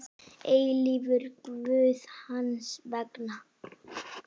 eilífur Guð hans vegna.